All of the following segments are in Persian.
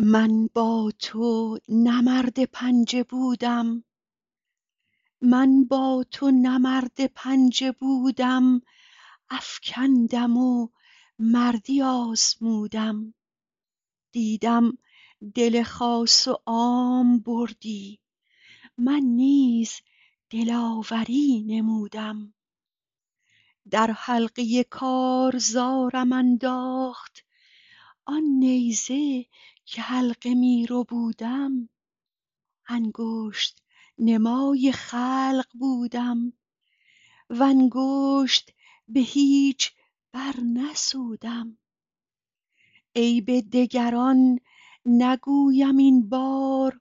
من با تو نه مرد پنجه بودم افکندم و مردی آزمودم دیدم دل خاص و عام بردی من نیز دلاوری نمودم در حلقه کارزارم انداخت آن نیزه که حلقه می ربودم انگشت نمای خلق بودم و انگشت به هیچ برنسودم عیب دگران نگویم این بار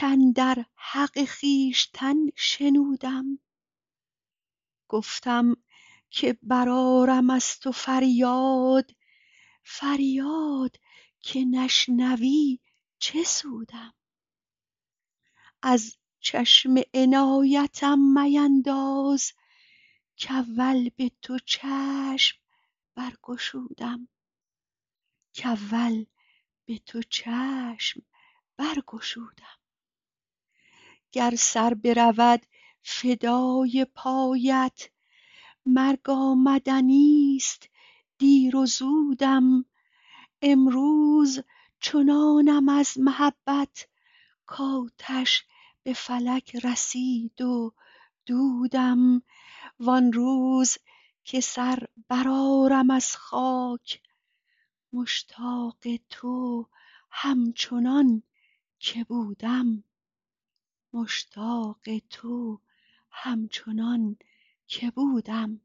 کاندر حق خویشتن شنودم گفتم که برآرم از تو فریاد فریاد که نشنوی چه سودم از چشم عنایتم مینداز کاول به تو چشم برگشودم گر سر برود فدای پایت مرگ آمدنیست دیر و زودم امروز چنانم از محبت کآتش به فلک رسید و دودم وان روز که سر برآرم از خاک مشتاق تو همچنان که بودم